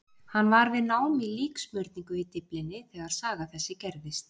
Hann var við nám í líksmurningu í Dyflinni þegar saga þessi gerðist.